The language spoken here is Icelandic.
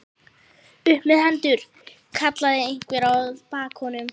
Upp með hendur! kallaði einhver að baki honum.